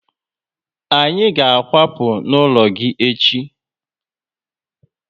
Anyị ga akwapu n'ụlọ gị echi